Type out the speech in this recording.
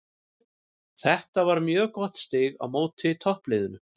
Þetta var mjög gott stig á móti toppliðinu.